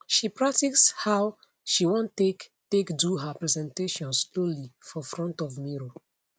she practice how she want take take do her presentation slowly for front of mirror